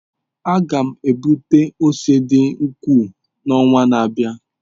M ga-egbute ose dị ukwuu n'ọnwa na-abịa.